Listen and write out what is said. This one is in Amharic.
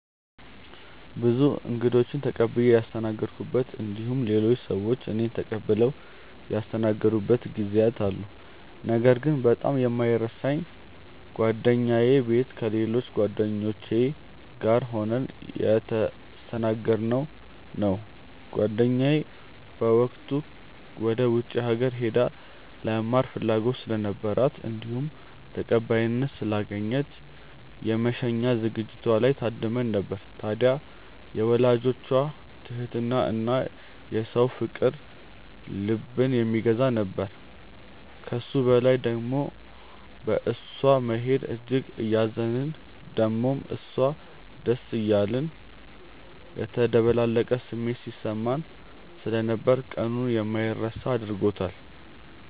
ብዙ እንግዶችን ተቀብዬ ያስተናገድኩበት እንዲሁም ሌሎች ሰዎች እኔን ተቀብለው ያስተናገዱበት ጊዜያት አሉ። ነገር ግን በጣም የማይረሳኝ ጓደኛዬ ቤት ከሌሎች ጓደኞቼ ጋር ሆነን የተስተናገድነው ነው። ጓደኛዬ በወቅቱ ወደ ውጪ ሀገር ሄዳ ለመማር ፍላጎት ስለነበራት እንዲሁም ተቀባይነት ስላገኘች የመሸኛ ዝግጅቷ ላይ ታድመን ነበር። ታድያ የወላጆቿ ትህትና እና የሰው ፍቅር ልብን የሚገዛ ነበር። ከሱ በላይ ደሞ በእሷ መሄድ እጅግ እያዘንን ደሞም ለሷ ደስ እያለን የተደበላለቀ ስሜት ሲሰማን ስለነበር ቀኑን የማይረሳ አድርጎታል።